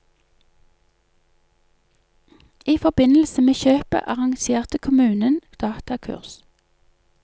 I forbindelse med kjøpet arrangerte kommunen datakurs.